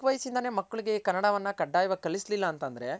ಚಿಕ್ ವಯ್ಸಿಂದನೆ ಮಕ್ಕಳ್ಗೆ ಕನ್ನಡವನ್ನ ಕಡ್ಡಾಯವಾಗ್ ಕಲ್ಸಿಲಿಲ್ಲ ಅಂತ್ ಅಂದ್ರೆ .